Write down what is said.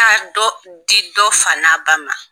dɔ di dɔ fa n'a ba ma.